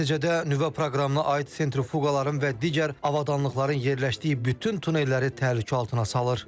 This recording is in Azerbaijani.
Nəticədə nüvə proqramına aid sentrifuqaların və digər avadanlıqların yerləşdiyi bütün tunelləri təhlükə altına salır.